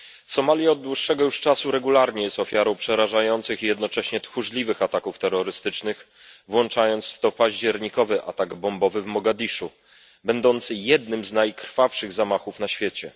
Somalia od dłuższego już czasu regularnie jest ofiarą przerażających i jednocześnie tchórzliwych ataków terrorystycznych, włączając w to październikowy atak bombowy w Mogadiszu będący jednym z najkrwawszych zamachów na świecie.